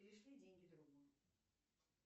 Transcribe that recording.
перешли деньги другу